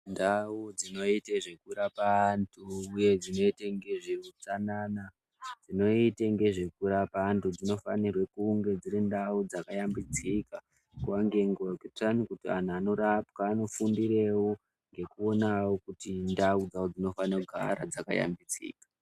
Ndau dzinoite zvekurapa antu uye dzinoite ngezveutsanana, dzinoite ngezvekurapa antu dzinofane kunge dziri ndau dzakashambidzika nguwa ngenguwa kuitire kuti antu anorapwa anofundirewo ngekuona kuti ndau dzavo dzinofane kugara dzakashambidzika.